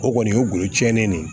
O kɔni o golo tiɲɛnen de